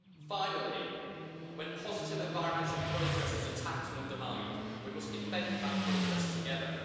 Finally, when positive environmental progress is attacked and undermined we must defend that progress together.